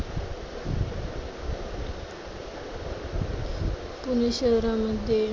पुणे शहरामध्ये